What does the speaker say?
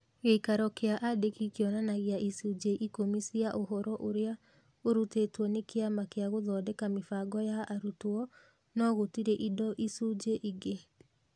Gĩikaro kĩa andĩki kĩonanagia icunjĩ ĩkumi cia ũhoro ũrĩa ũrutĩtwo nĩ kĩama kĩa Gũthondeka Mĩbango ya Arutwo, no gũtirĩ indo icunjĩ ingĩ.